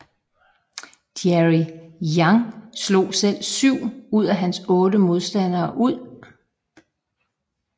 Jerry Yang slog selv 7 ud af hans 8 modstandere ud